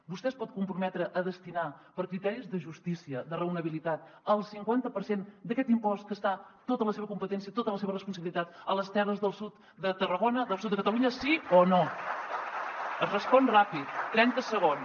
vostè es pot comprometre a destinar per criteris de justícia de raonabilitat el cinquanta per cent d’aquest impost que està tot a la seva competència tot a la seva responsabilitat a les terres del sud de tarragona del sud de catalunya sí o no es respon ràpid trenta segons